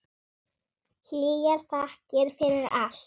Hlýjar þakkir fyrir allt.